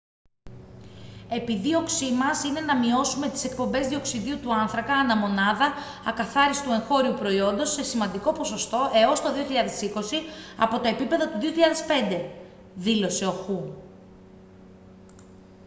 «επιδίωξή μας είναι να μειώσουμε τις εκπομπές διοξειδίου του άνθρακα ανά μονάδα ακαθάριστου εγχώριου προϊόντος σε σημαντικό ποσοστό έως το 2020 από τα επίπεδα του 2005» δήλωσε ο χου